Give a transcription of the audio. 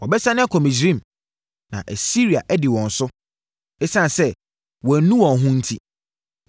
“Wɔbɛsane akɔ Misraim, na Asiria adi wɔn so, ɛsiane sɛ wɔannu wɔn ho enti.